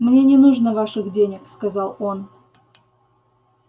мне не нужно ваших денег сказал он